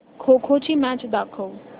खो खो ची मॅच दाखव